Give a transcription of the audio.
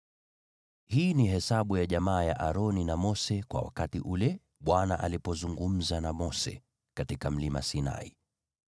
Hii ni hesabu ya jamaa ya Aroni na Mose kwa wakati ambao Bwana alizungumza na Mose katika Mlima Sinai.